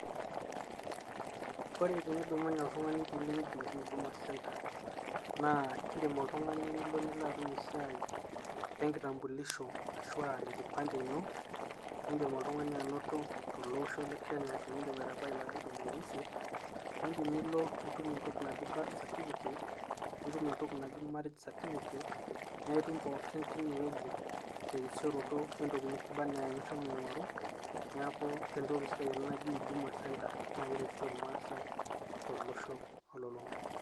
Ore tenidumunye oltungani pilo eweuji naaji uduma center, na indim oltungani nilo nilo atum esiai enkitambulisho ashu o enkipande ino indim oltungani anoto telosho lekenya tendip aitabaki ilarin tomon osiet nindim nilo nitum entoki naaji birth cercificate nitum entoki naaji marriage certificate na itum pooki tine weuji terisiroto wentoki nabaa ena enishomo aingoru niaku entoki sidai ena najii huduma center na keretito ilmasae.